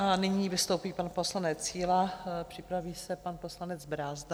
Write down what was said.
A nyní vystoupí pan poslanec Síla, připraví se pan poslanec Brázdil.